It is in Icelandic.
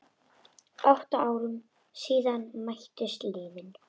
Átta árum síðan mættust liðin.